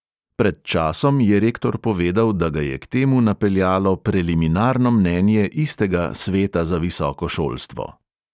Pred časom je rektor povedal, da ga je k temu napeljalo preliminarno mnenje istega sveta za visoko šolstvo.